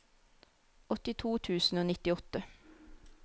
åttito tusen og nittiåtte